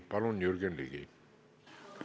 Palun, Jürgen Ligi!